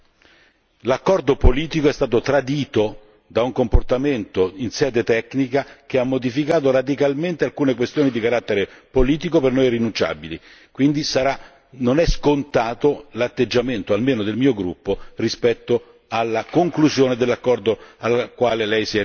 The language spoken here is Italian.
L'accordo politico è stato tradito da un comportamento in sede tecnica che ha modificato radicalmente alcune questioni di carattere politico per noi irrinunciabili, quindi non è scontato l'atteggiamento, almeno del mio gruppo, rispetto alla conclusione dell'accordo al quale Lei si è riferito.